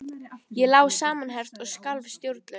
Ég lá samanherpt og skalf stjórnlaust.